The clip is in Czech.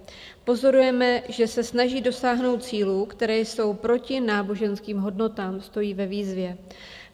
Pozorujeme, že se snaží dosáhnout cílů, které jsou proti náboženským hodnotám, stojí ve výzvě.